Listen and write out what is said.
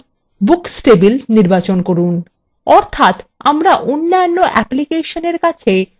অর্থাত আমরা অন্যান্য অ্যাপ্লিকেশনের কাছে শুধুমাত্র books table দৃশ্যমান রাখছি